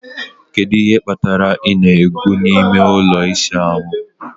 Kedu ihe kpatara ị na-egwu n'ime ụlọ ịsa ahụ